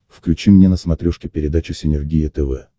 включи мне на смотрешке передачу синергия тв